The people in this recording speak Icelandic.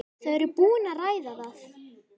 Þau eru búin að ræða það.